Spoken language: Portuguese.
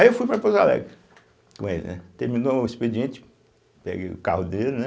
Aí eu fui para Pouso Alegre com ele, né, terminou o expediente, peguei o carro dele, né